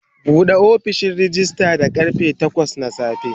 Bude ofishin rejista da karfe takwas na safe.